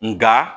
Nga